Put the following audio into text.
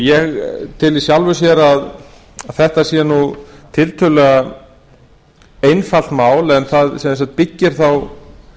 ég tel í sjálfu sér að þetta sé tiltölulega einfalt mál en það byggir þá